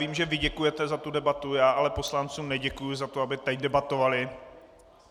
Vím, že vy děkujete za tu debatu, já ale poslancům neděkuji za to, aby teď debatovali.